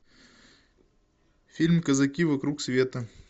фильм казаки вокруг света